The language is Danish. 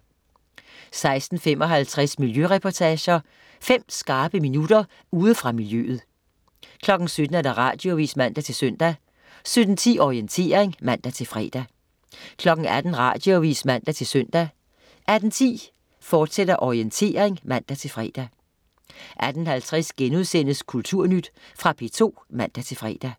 16.55 Miljøreportager. Fem skarpe minutter ude fra miljøet 17.00 Radioavis (man-søn) 17.10 Orientering (man-fre) 18.00 Radioavis (man-søn) 18.10 Orientering, fortsat (man-fre) 18.50 Kulturnyt.* Fra P2 (man-fre)